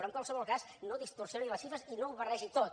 però en qualsevol cas no distorsioni les xifres i no ho barregi tot